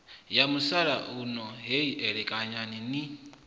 ya musalauno heyi elekanyani ni